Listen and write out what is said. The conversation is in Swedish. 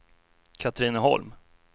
Katrineholm